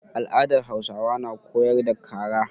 Al'adar Hausawa na koyar da kara.